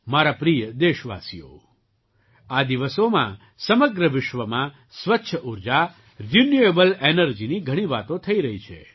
મારા પ્રિય દેશવાસીઓ આ દિવસોમાં સમગ્ર વિશ્વમાં સ્વચ્છ ઊર્જા રિન્યૂએબલ એનર્જીની ઘણી વાતો થઈ રહી છે